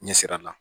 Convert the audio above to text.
Ɲɛ sira la